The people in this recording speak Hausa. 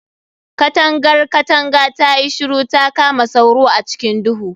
Katangar katanga tayi shiru ta kama sauro a cikin duhu